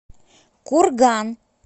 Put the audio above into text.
курган